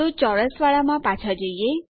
તો ચોરસવાળામાં પાછા જઈએ